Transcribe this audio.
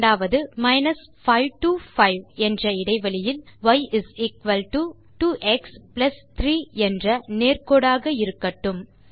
இரண்டாவது 5 டோ 5 என்ற இடைவெளியில் y is equal to two x plus 3 என்ற நேர்கோடாக இருக்கட்டும்